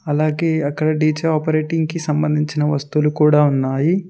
అలాగే అక్కడ D J operating కి సంబంధించిన వస్తువులు కూడా ఉన్నాయి.